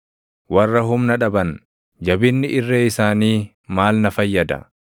Warra humna dhaban, jabinni irree isaanii maal na fayyada?